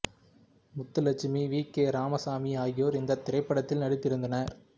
Muthulakshmi V K Ramasamy ஆகியோர் இந்தத் திரைப்படத்தில் நடித்திருந்தனர்